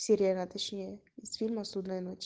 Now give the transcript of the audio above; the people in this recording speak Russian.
сирена точнее из фильма судная ночь